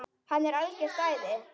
Hann er algert æði!